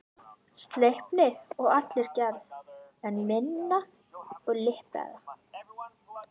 Sleipni að allri gerð, en minni og liprari.